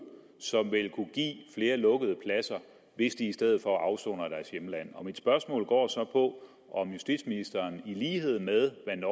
som vil kunne give flere lukkede pladser hvis de i stedet for afsoner i deres hjemland mit spørgsmål går så på om justitsministeren i lighed med hvad